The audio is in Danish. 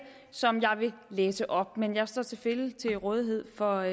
som jeg vil læse op men jeg står selvfølgelig til rådighed for